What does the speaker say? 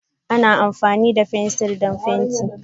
Ana amfani da fensir don fenti.